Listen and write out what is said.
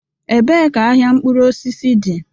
Ebee ka ahịa mkpụrụ osisi dị?